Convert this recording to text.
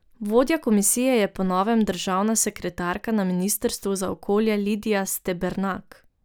Vodja komisije je po novem državna sekretarka na ministrstvu za okolje Lidija Stebernak.